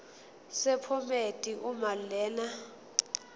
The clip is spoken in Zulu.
sephomedi uma lena